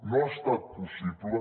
no ha estat possible